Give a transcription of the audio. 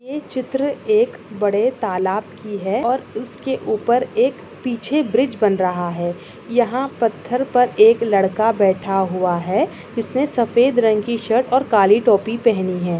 ये चित्र एक बड़े तालाब की है और इसके ऊपर एक पीछे ब्रिज बन रहा है। यहा पथर पर एक लड़का बेठा हुआ है जिसने सफेद रंग सही शर्ट और काली टोपी पहनी हुई हैं।